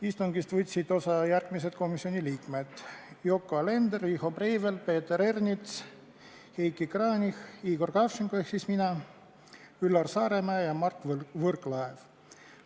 Istungist võtsid osa järgmised komisjoni liikmed: Yoko Alender, Riho Breivel, Peeter Ernits, Heiki Kranich, Igor Kravtšenko ehk siis mina, Üllar Saaremäe ja Mart Võrklaev.